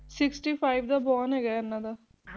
Sixty Five ਦਾ Born ਹੈਗਾ ਹੈ ਇਹਨਾ ਦਾ